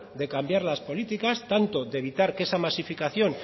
de cambiar las políticas tanto de evitar que esa masificación